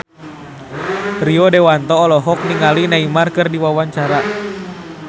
Rio Dewanto olohok ningali Neymar keur diwawancara